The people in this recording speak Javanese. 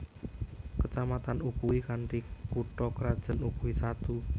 Kecamatan Ukui kanthi kutha krajan Ukui Satu